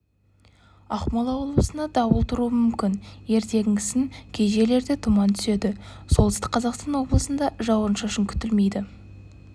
ақмола облысында дауыл тұруы мүмкін ертеңгісін кей жерлерде тұман түседі солтүстік қазақстан облысында жауын-шашын күтілмейді